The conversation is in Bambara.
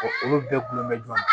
olu bɛɛ gulonnen don